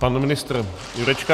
Pan ministr Jurečka.